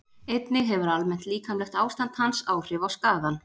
Einnig hefur almennt líkamlegt ástand hans áhrif á skaðann.